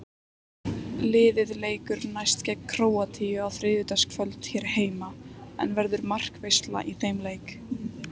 Liðið leikur næst gegn Króatíu á þriðjudagskvöld hér heima, en verður markaveisla í þeim leik?